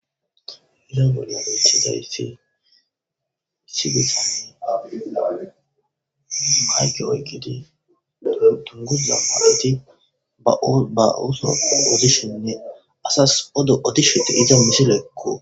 Ha missilezan bettizaysi mayike oyikidi dunguza maayo maayidi ba Ooththo odishenne Asasi odo odishe de'izaysakko.